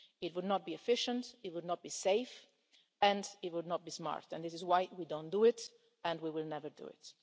It would not be efficient, it would not be safe, and it would not be smart, and this is why we do not do it and we will never do it.